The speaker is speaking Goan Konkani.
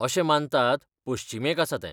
अशें मानतात, पश्चिमेक आसा तें.